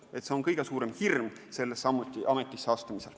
Kas ma seda suudan, on kõige suurem hirm sellesse ametisse astumisel.